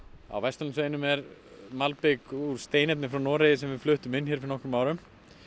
á Vesturlandsveginum er malbik úr steinefnum frá Noregi sem við fluttum inn fyrir nokkrum árum